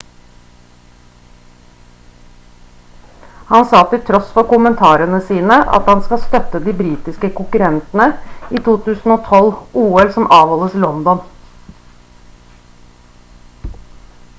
han sa til tross for kommentarene sine at han skal støtte de britiske konkurrentene i 2012-ol som avholdes i london